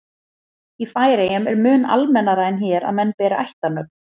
í færeyjum er mun almennara en hér að menn beri ættarnöfn